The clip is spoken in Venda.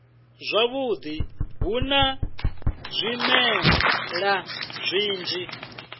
zwavhudi hu na zwimela zwinzhi